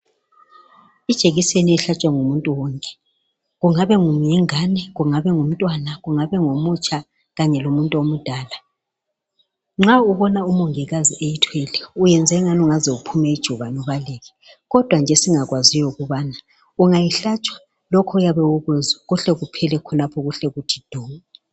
Ijekiseni ihlatshwa ngumintu wonke kungabe yingane, kungabe ngomutsha, kungabe kungumuntu omdala, nxa umongikazi eyithwele uyenze angathi ungaze uphume ijubane ubaleke kodwa nje esingakwaziyo yikibana ungayihlatshwa lokho oyabe ukuzwa kuhle kuphele khonapho kuhle kuthi du.